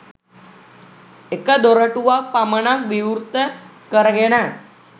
එක දොරටුවක් පමණක් විවෘත කරගෙන